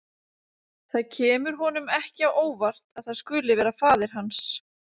Það kemur honum ekki á óvart að það skuli vera faðir hans.